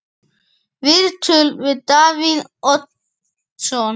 Viðtöl við Davíð Oddsson